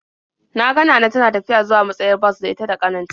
Na ga Nana tana tafiya zuwa matsayar bas da ita da ƙanin ta.